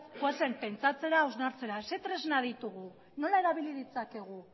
pentsatzera hausnartzera zer tresna ditugu nola erabili ditzakegu